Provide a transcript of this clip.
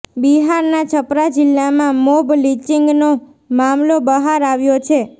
બિહારના છપરા જિલ્લામાં મોબ લિંચિંગનો મામલો બહાર આવ્યો છે